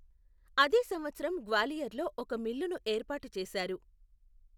అదే సంవత్సరం గ్వాలియర్లో ఒక మిల్లును ఏర్పాటు చేశారు.